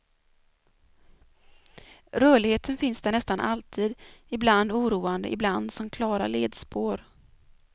Rörligheten finns där nästan alltid, ibland oroande, ibland som klara ledspår.